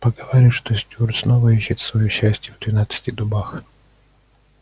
поговаривают что стюарт снова ищет своё счастья в двенадцати дубах